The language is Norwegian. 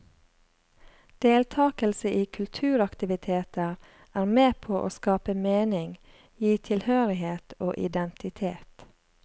Deltakelse i kulturaktiviteter er med på å skape mening, gi tilhørighet og identitet.